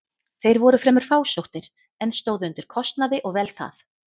Þeir voru fremur fásóttir, en stóðu undir kostnaði og vel það.